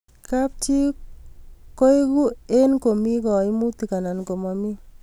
kap chi koegu eng komi kaimutik anan komami